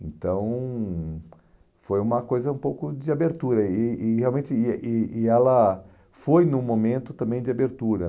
Então, foi uma coisa um pouco de abertura e e realmente e e e ela foi num momento também de abertura.